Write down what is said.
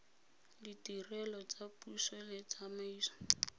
ditirelo tsa puso le tsamaiso